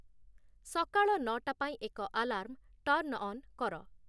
ସକାଳ ନଅଟା ପାଇଁ ଏକ ଆଲାର୍ମ ଟର୍ନ୍ ଅନ୍ କର